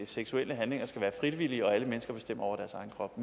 seksuelle handlinger skal være frivillige og alle mennesker bestemmer over deres egen krop